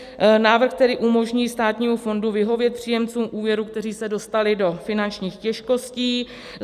Návrh tedy umožní státnímu fondu vyhovět příjemcům úvěrů, kteří se dostali do finančních těžkostí.